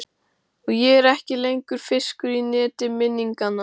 Og ég er ekki lengur fiskur í neti minninganna.